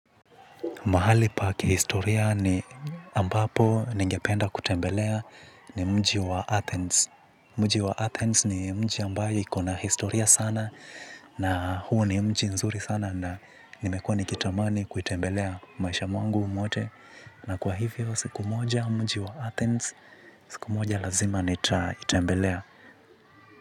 Mahali pa kihistoria ni ambapo ningependa kutembelea ni mji wa Athens. Mji wa Athens ni mji ambayo ikona historia sana na huo ni mji nzuri sana na nimekuwa nikitamani kuitembelea maisha mwangu mwote. Na kwa hivyo siku moja mji wa Athens, siku moja lazima nitaitembelea.